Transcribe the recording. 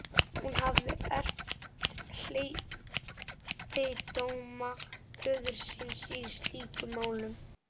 Hún hafði erft hleypidóma föður síns í slíkum málum.